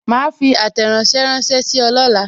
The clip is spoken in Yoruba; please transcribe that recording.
Ma fi àtẹ̀ránsẹ́ ránsẹ́ sí ọ lọla